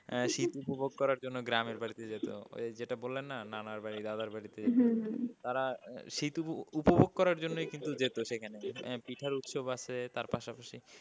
আহ শীত উপভোগ করার জন্য গ্রামের বাড়িতে যেত ওই যে যেটা বললাম না নানার বাড়ি দাদার বাড়ি তারা শীত উপ~ উপভোগ করার জন্যই কিন্তু যেত সেখানে। পিঠার উৎসব আছে তার পাশাপাশি।